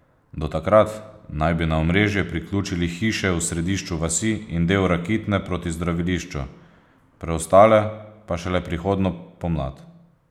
Do takrat naj bi na omrežje priključili hiše v središču vasi in del Rakitne proti zdravilišču, preostale pa šele prihodnjo pomlad.